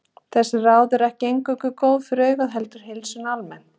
Þessi ráð eru ekki eingöngu góð fyrir augun heldur heilsuna almennt.